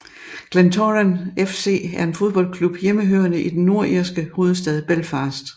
Glentoran FC er en fodboldklub hjemmehørende i den nordirske hovedstad Belfast